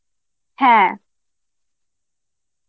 হ্যাঁ